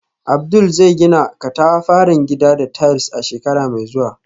Abdul zai gina katafaren gida da tiles a shekara mai zuwa.